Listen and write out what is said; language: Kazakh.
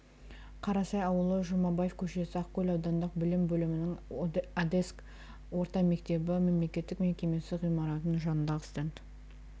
қарасай ауылы жұмабаев көшесі ақкөл аудандық білім бөлімінің одеск орта мектебі мемлекеттік мекемесі ғимаратының жанындағы стенд